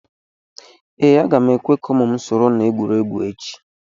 ee, a ga m ekwe ka ụmụ m soro na egwuregwu echi